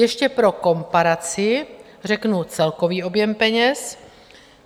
Ještě pro komparaci řeknu celkový objem peněz.